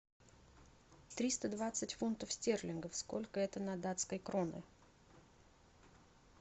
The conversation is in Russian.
триста двадцать фунтов стерлингов сколько это на датской кроны